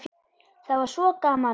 Það var svo gaman að